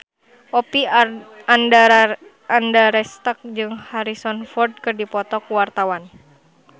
Oppie Andaresta jeung Harrison Ford keur dipoto ku wartawan